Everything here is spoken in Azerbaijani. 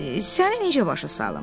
Mən səni necə başa salım?